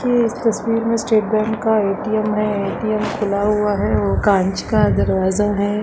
ये इस तस्वीर में स्टेट बैंक का ए.टी.एम है ए.टी.एम खुला हुआ है और कांच का दरवाज़ा है।